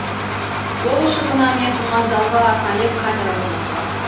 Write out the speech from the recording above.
ол үшін мына мен тұрған залға арнайы камера орнатылған